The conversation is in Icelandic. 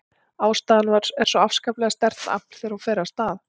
Ástríðan er svo afskaplega sterkt afl þegar hún fer af stað.